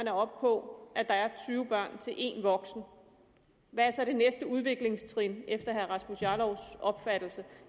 er oppe på at der er tyve børn til en voksen hvad er så det næste udviklingstrin efter herre rasmus jarlovs opfattelse